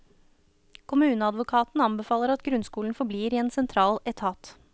Kommuneadvokaten anbefaler at grunnskolen forblir i en sentral etat.